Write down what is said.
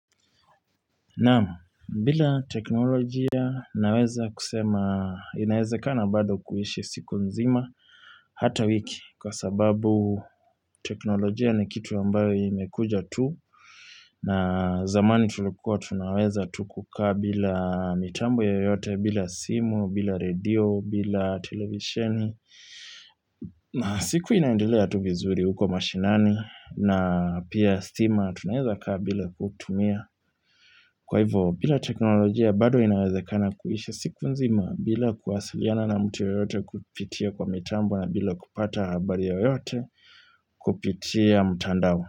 Naam, bila teknolojia naweza kusema inaezekana bado kuishi siku nzima hata wiki kwa sababu teknolojia ni kitu ambayo imekuja tu na zamani tulikua tunaweza tu kukaa bila mitambo yoyote bila simu, bila radio, bila televisheni na siku inaendelea tu vizuri huko mashinani na pia stima tunawezakaa bila kutumia Kwa hivyo, bila teknolojia bado inawezekana kuisha siku nzima bila kuwasiliana na mt yoyote kupitia kwa mitambo na bila kupata habari yoyote kupitia mtandao.